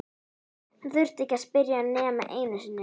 Hann þurfti ekki að spyrja nema einu sinni.